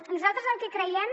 nosaltres el que creiem